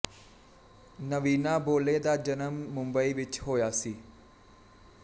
ਨਵੀਨਾ ਬੋਲੇ ਦਾ ਜਨਮ ਮੁੰਬਈ ਵਿੱਚ ਹੋਇਆ ਸੀ